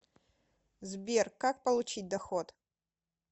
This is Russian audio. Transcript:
сбер как получить доход